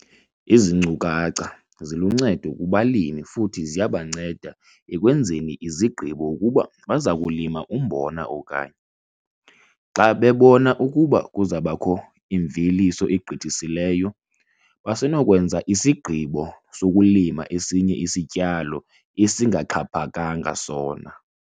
Ezi nkcukacha ziluncedo kubalimi futhi ziyabanceda ekwenzeni izigqibo ukuba baza kulima umbona okanye, xa bebona ukuba kuza kubakho imveliso egqithisileyo, basenokwenza isigqibo sokulima esinye isityalo esingaxhaphakanga sona.